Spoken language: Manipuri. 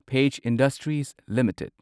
page Industries limited